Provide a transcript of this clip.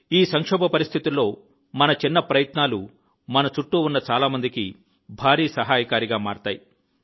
ఈ సంక్షోభ పరిస్థితుల్లో మన చిన్న ప్రయత్నాలు మన చుట్టూ ఉన్న చాలా మందికి భారీ సహాయకారిగా మారతాయి